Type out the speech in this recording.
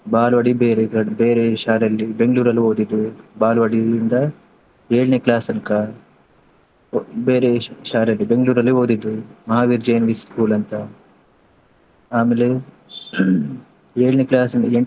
ಬಾಲ್ವಾಡಿ ಬೇರೆ ಕಡ್~ ಬೇರೆ ಶಾಲೆಯಲ್ಲಿ Bangalore ಅಲ್ಲಿ ಓದಿದ್ದು. ಬಾಲ್ವಾಡಿ ಇಂದ ಏಳ್ನೇ class ತನ್ಕ, ಬೇರೆ ಶಾಲೆ Bangalore ಅಲ್ಲೇ ಓದಿದ್ದು. Mahaveer Jain Vi School ಅಂತ. ಆಮೇಲೆ ಏಳ್ನೇ class ಇಂದ ಎಂಟ್ನೇ.